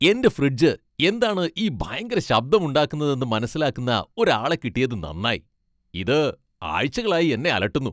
എന്റെ ഫ്രിഡ്ജ് എന്താണ് ഈ ഭയങ്കര ശബ്ദം ഉണ്ടാക്കുന്നതെന്ന് മനസിലാക്കുന്ന ഒരാളെ കിട്ടിയതു നന്നായി, ഇത് ആഴ്ചകളായി എന്നെ അലട്ടുന്നു!